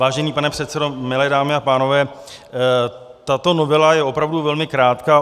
Vážený pane předsedo, milé dámy a pánové, tato novela je opravdu velmi krátká.